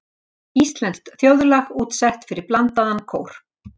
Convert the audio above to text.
Íslenskt þjóðlag útsett fyrir blandaðan kór.